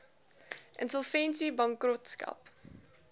insolvensiebankrotskap